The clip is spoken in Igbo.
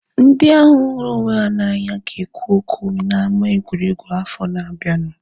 Ndị ahu hụrụ onwe ha na anya ga ekwu okwu na ama egwuregwu afọ na abianu